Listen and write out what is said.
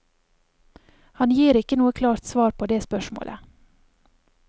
Han gir ikke noe klart svar på det spørsmålet.